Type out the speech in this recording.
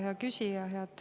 Hea küsija!